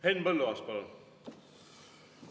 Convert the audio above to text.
Henn Põlluaas, palun!